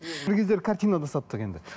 бір кездері картина да саттық енді